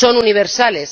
son universales.